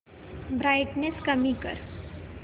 brightness कमी कर